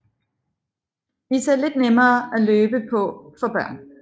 Disse er lidt nemmere at løbe på for børn